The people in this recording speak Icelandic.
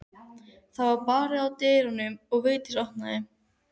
Það var barið að dyrum og Vigdís opnaði.